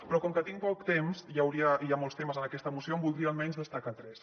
però com que tinc poc temps i hi ha molts temes en aquesta moció en voldria almenys destacar tres